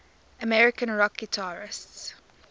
american rock guitarists